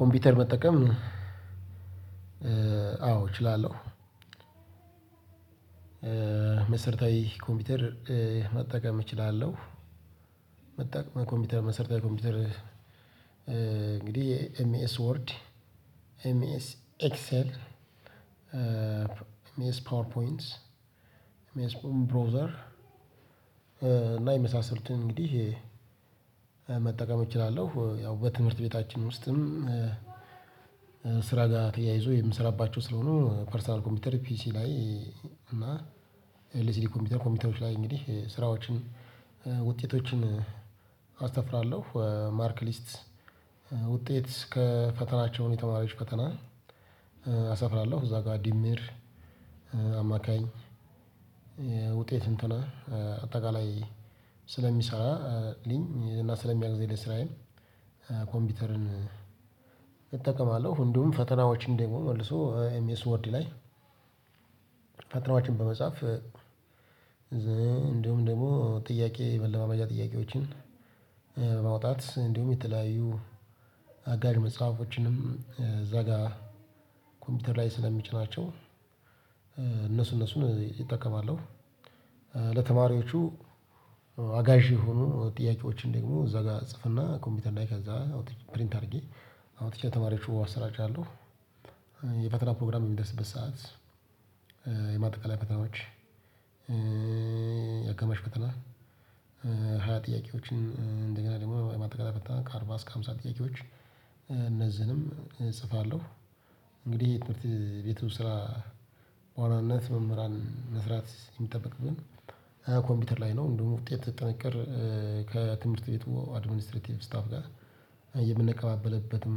ኮምፒውተር መጠቀም አዎ እችላለሁ። መሰረታዊ ኮምፒውተር መጠቀም እችላለሁ። መጠቀም በኮምፒውተር መሰረታዊ ኮምፒውተር እንግዲህ ኤምኤስ ወርድ ኤምኤስ ኤክሰል ኤምኤስ ፓወርፖይንት ኤምኤስ ብሮዘር እና የመሳሰሉትን እንግዲህ መጠቀም እችላለሁ። ያው በትምህርት ቤታችን ውስጥም ስራ ጋር ተያይዞ የምሰራባቸው ስለሆኑ ፐርሰናል ኮምፒውተር ፒሲ ላይ እና ለሲዲ ኮምፒውተር ኮምፒውተሮች ላይ እንግዲህ ስራዎችን ውጤቶችን አሰፍራለሁ። ማርክ ሊስት ውጤት ከፈተናቸውን የተማሪዎች ፈተና አሰፍራለሁ። እዛ ጋር ዲምር አማካኝ ውጤት እንትና አጠቃላይ ስለሚሰራ ልኝ እና ስለሚያግዘኝ ለስራየ ኮምፒውተርን እጠቀማለሁ። እንዲሁም ፈተናዎች እንደሆን መልሶ ኤምኤስወርዲ ላይ ፈተናዎችን በመጻፍ እንደሁም ደግሞ ጥያቄ መለማመጃ ጥያቄዎችን ማውጣት እንዲሁም የተለያዩ አጋዢ መጽሐፎችንም እዛ ጋር ኮምፒውተር ላይ ስለሚጭናቸው እነሱ እነሱን እጠቀማለሁ። ለተማሪዎቹ አጋዥ የሆኑ ጥያቄዎችን ደግሞ እዛ ጋር ጽፍና ኮምፒውተር ላይ ከዛ አውጥቼ ፕሪንት አድርጌ አውጥቼ ተማሪዎች አስራጫለሁ። የፈተና ፕሮግራም በሚደርስበት ሰዓት የማጠቃለያ ፈተናዎች አጋማሽ ፈተና ሃያ ጥያቄዎችን እንደገና ደግሞ ማጠቃለል ከአርባ እስከ ሃምሳ ጥያቄዎች እነዚህንም እጽፋለሁ። እንግዲህ የትምህርት ቤቱ ስራ በዋናነት መምህራን መስራት የሚጠበቅግን ኮምፒውተር ላይ ነው እንደውም ውጤት ጥንቅር ከትምህርት ቤቱ አድሚኒስትሬቲቭ ስታፍ ጋር የምንቀባበልበትም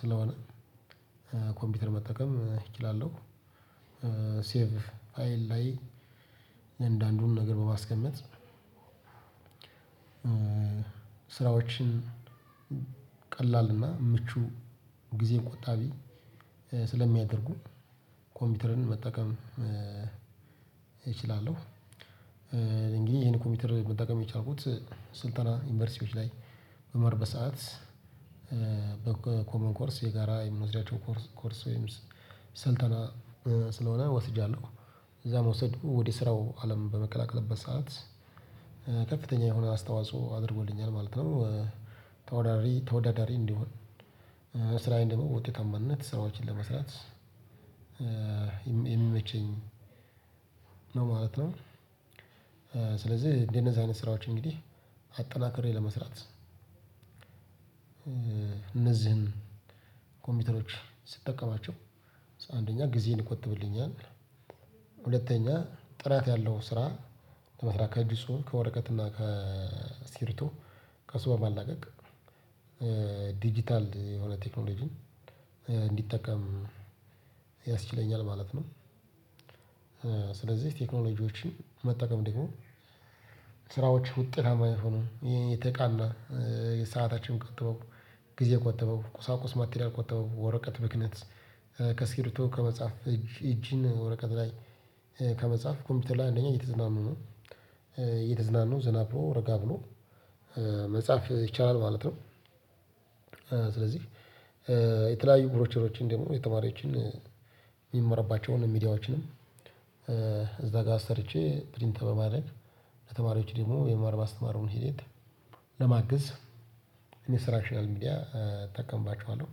ስለሆነ ኮምፒውተር መጠቀም እችላለሁ። ሴቭ ፍይል ላይ እያንዳንዱን ነገር በማስቀመጥ ስራዎችን ቀላልና ምቹ ጊዜን ቆጣቢ ስለሚያደርጉ ኮምፒውተርን መጠቀም እችላለሁ። እንግዲህ ይሄን ኮምፒውተር መጠቀም የቻልኩት ስልጠና ዩኒቨርሲቲዎች ላይ በምማርበት ሰዓት በኮመን ኮርስ የጋራ የምንወስዳቸውን ኮርስ ወይም ስልጠና ስለሆነ ወስጃለሁ እዛ መውሰድ ወደ ስራው አለም በምቀላቀልበት ሰዓት ከፍተኛ የሆነ አስተዋጽኦ አድርጎልኛል ማለት ነው። ተወዳዳሪ ተወዳዳሪ እንዲሆን ስራዬን ደግሞ ውጤታማነት ስራዎችን ለመስራት የሚመቸኝ ነው ማለት ነው። ስለዚህ እንደነዛ አይነት ስራዎች እንግዲህ አጠናክሬ ለመስራት እነዚህን ኮምፒውተሮች ስጠቀማቸው አንደኛ ጊዜን ይቆጥብልኛል። ሁለተኛ ጥራት ያለው ስራ ለመስራት ከእጅ ጽሁፍ ከወረቀት እና ከእስክርቢቶ ከሱ መላቀቅ ዲጂታል የሆነ ቴክኖሎጂን እንዲጠቀም ያስችለኛል ማለት ነው። ስለዚህ ቴክኖሎጂዎችን መጠቀም ደግሞ ስራዎች ውጤታማ የሚሆኑ የተቃና የሰአታችን ቆጥበው ጊዜ ቆጠበው ቁሳቁስ ማቴሪያል ቆጠበው ወረቀት ብክነት ከስኪርቢቶ ከመጽሐፍ እጅ እጅን ወረቀት ላይ ከመጽሐፍ ኮምፒውተር ላይ አንደኛ እየተዝናኑ ነው እየተዝናኑ ዘና ብሎ ረጋ ብሎ መጻፍ ይቻላል ማለት ነው። ስለዚህ የተለያዩ ብሮቸሮችን ደግሞ የተማሪዎችን የሚመራባቸውን ሚዲያዎችንም እዛ ጋር ሰርቼ ፕሪንተር በማድረግ ለተማሪዎች ደግሞ የመማር ማስተማሩን ሂደት ለማገዝ ኢንስትራክሽናል ሚዲያ እጠቀምባቸዋለሁ።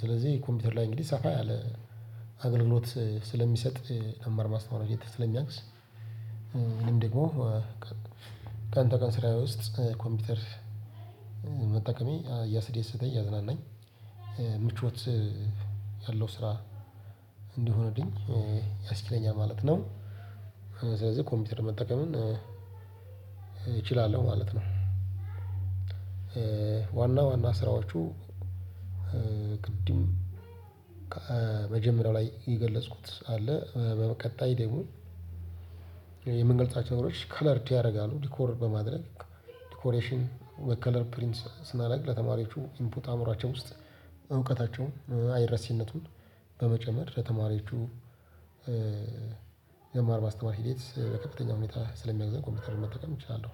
ስለዚህ ኮምፒውተር ላይ እንግዲህ ሰፋ ያለ አገልግሎት ስለሚሰጥ መማር ማስተማሩ ላይ ስለሚያግዝ። ይሄንን ደግሞ ቀን ተቀን ስራየ ውስጥ ኮምፒውተር መጠቀሜ እያስደሰተኝ እያዝናናኝ ምቾት ያለው ስራ እንዲሆንልኝ ያስደስተኛል ማለት ነው። ስለዚህ ኮምፒውተር መጠቀምን እችላለሁ ማለት ነው። ዋና ዋና ስራዎቹ ቅድም መጀመሪያው ላይ የገለጽኩት አለ በቀጣይ ደግሞ የምንገልጻቸው ነገሮች ከለርድ ያደርጋሉ ዲኮር በማድረግ ዲኮሬሽን በከለር ፕሪንት ስናደርግ ለተማሪዎቹ ኢንፑት አእምሮአቸው ውስጥ እውቀታቸውን አይረሴነቱን በመጨመር ለተማሪዎቹ የመማር ማስተማር ሂደት ለከፍተኛ ሁኔታ ስለሚያግዘን ኮምፒውተር መጠቀም እችላለሁ።